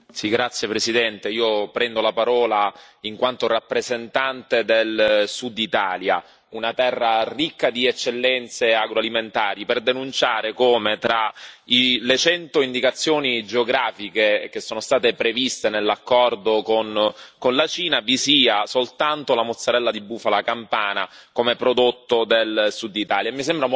Signor Presidente, onorevoli colleghi, io prendo la parola in quanto rappresentante del Sud Italia, una terra ricca di eccellenze agroalimentari, per denunciare come, tra le cento indicazioni geografiche che sono state previste nell'accordo con la Cina, vi sia soltanto la mozzarella di bufala campana come prodotto del Sud Italia.